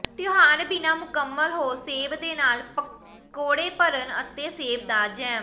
ਤਿਉਹਾਰ ਬਿਨਾ ਮੁਕੰਮਲ ਹੋ ਸੇਬ ਦੇ ਨਾਲ ਪਕੌੜੇ ਭਰਨ ਅਤੇ ਸੇਬ ਦਾ ਜੈਮ